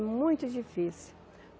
Muito difícil.